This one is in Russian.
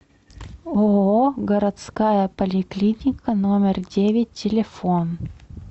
ооо городская поликлиника номер девять телефон